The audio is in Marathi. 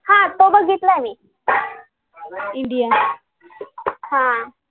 हा तो बघितलंय मी हा हा